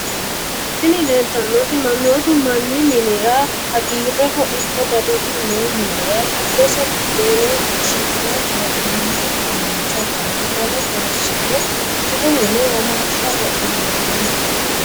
Tini lelitanot manotu mani minira hagireho iko daliu no minira gidosi budena qishshine hanani udunicho ikana wole horosino jilu mine womasha wodinaniho.